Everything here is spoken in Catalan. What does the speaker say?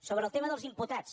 sobre el tema dels imputats